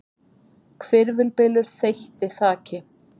Hvirfilbylur þeytti þaki